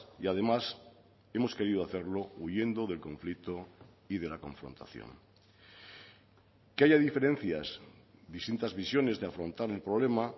y además hemos querido hacerlo huyendo del conflicto y de la confrontación que haya diferencias distintas visiones de afrontar el problema